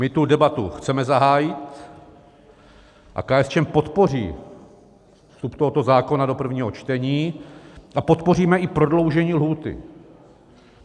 My tu debatu chceme zahájit a KSČM podpoří vstup tohoto zákona do prvního čtení a podpoříme i prodloužení lhůty.